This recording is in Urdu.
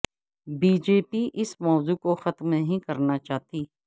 بی جے پی اس موضوع کو ختم نہیں کرنا چاہتی